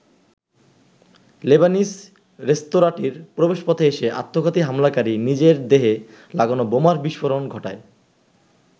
Lebanese রেস্তোরাঁটির প্রবেশপথে এসে আত্মঘাতী হামলাকারী নিজের দেহে লাগানো বোমার বিস্ফোরণ ঘটায়।